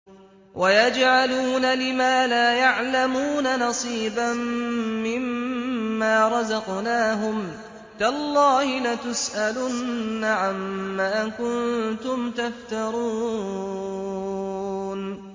وَيَجْعَلُونَ لِمَا لَا يَعْلَمُونَ نَصِيبًا مِّمَّا رَزَقْنَاهُمْ ۗ تَاللَّهِ لَتُسْأَلُنَّ عَمَّا كُنتُمْ تَفْتَرُونَ